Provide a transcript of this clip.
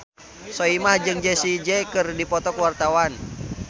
Soimah jeung Jessie J keur dipoto ku wartawan